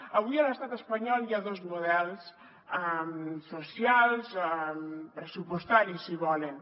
avui a l’estat espanyol hi ha dos models socials pressupostaris si volen